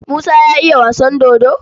Musa ya iya wasan dodo?